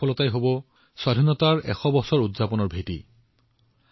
যেতিয়া আমাৰ ভাৰতে স্বাধীনতাৰ ১০০ বছৰ সম্পূৰ্ণ কৰিব আমাৰ সংকল্পবোৰ ইয়াৰ সফলতাৰ ভিত্তিত হব